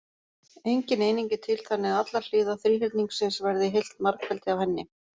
Engin eining er til þannig að allar hliðar þríhyrningsins verði heilt margfeldi af henni.